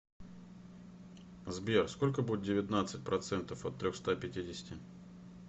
сбер сколько будет девятнадцать процентов от трехста пятидесяти